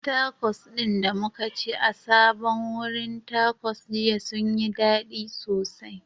Takos ɗin da muka ci a sabon wurin Takos jiya sun yi dadi sosai